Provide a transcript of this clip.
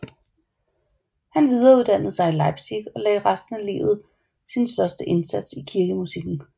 Han videreuddannede sig i Leipzig og lagde resten af livet sin største indsats i kirkemusikken